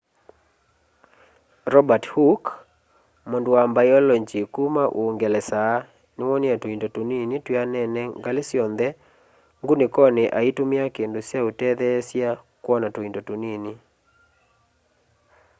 robert hooke mundu wa mbailongyi kuma uungelesa niwoonie tuindo tunini twianene ngali syonthe ngunikoni aitumia kindu kya utethesya kwona tuindo tunini